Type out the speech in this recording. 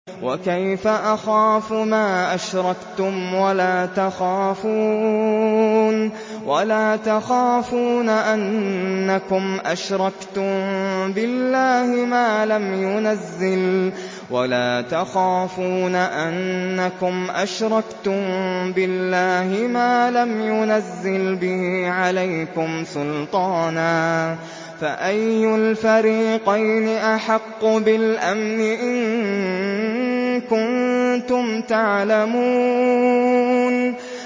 وَكَيْفَ أَخَافُ مَا أَشْرَكْتُمْ وَلَا تَخَافُونَ أَنَّكُمْ أَشْرَكْتُم بِاللَّهِ مَا لَمْ يُنَزِّلْ بِهِ عَلَيْكُمْ سُلْطَانًا ۚ فَأَيُّ الْفَرِيقَيْنِ أَحَقُّ بِالْأَمْنِ ۖ إِن كُنتُمْ تَعْلَمُونَ